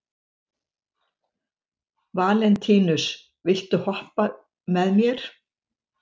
Valentínus, viltu hoppa með mér?